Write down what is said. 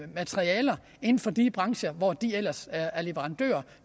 materialer inden for de brancher hvor de ellers er leverandører og